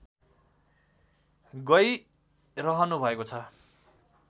गैरहनु भएको छ